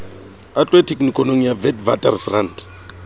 a tlohe tekenikonong ya witwatersrand